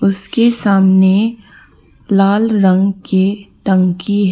उसके सामने लाल रंग के टंकी ह--